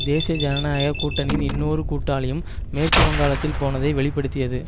தேசிய ஜனநாயக கூட்டணியின் இன்னொரு கூட்டாளியும் மேற்கு வங்காளத்தில் போனதை வெளி படுத்தியது